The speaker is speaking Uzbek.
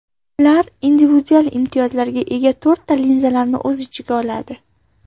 Ular individual imtiyozlarga ega to‘rtta linzalarni o‘z ichiga oladi.